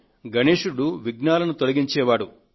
గణేశుడు విఘ్నాలను తొలగించే దైవం